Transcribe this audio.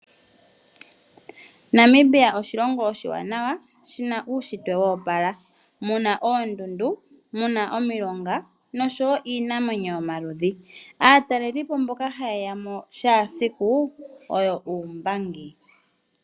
Namibia oshilongo oshiwanawa shina uushitwe wa opala. Shina oondundu muna omilonga noshowo iinamwenyo yomaludhi. Aatalelipo mboka hayeyamo kehe esiku oyo uumbangi.